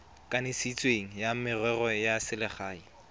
kanisitsweng wa merero ya selegae